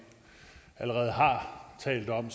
allerede har talt om